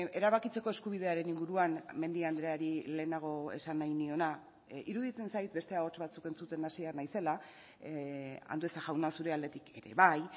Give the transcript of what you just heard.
erabakitzeko eskubidearen inguruan mendia andreari lehenago esan nahi niona iruditzen zait beste ahots batzuk entzuten hasia naizela andueza jauna zure aldetik ere bai